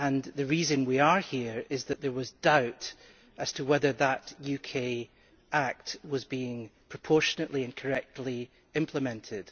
The reason we are here is that there was doubt as to whether that UK Act was being proportionately and correctly implemented.